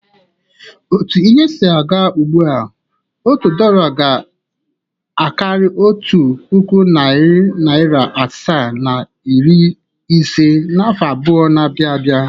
Otu ihe si aga ugbua, otu dọla ga-akarị otu puku, narị naịra asaa na iri ise n’afọ abụọ na-abịa abịa.